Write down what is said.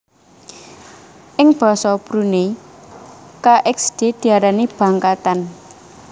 Ing basa Brunei kxd diarani bangkatan